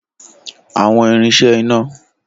Awọn irin ṣe ina.